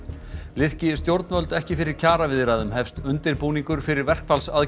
liðki stjórnvöld ekki fyrir kjaraviðræðum hefst undirbúningur fyrir verkfallsaðgerðir